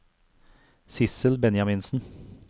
Sissel Benjaminsen